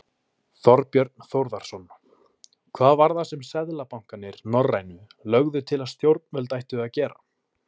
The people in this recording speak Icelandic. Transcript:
Þorbjörn Þórðarson: Hvað var það sem seðlabankarnir, norrænu, lögðu til að stjórnvöld ættu að gera?